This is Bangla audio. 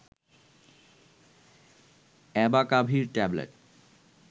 অ্যাবাকাভির ট্যাবলেট